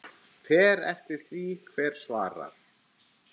Fer eftir því hver svarar.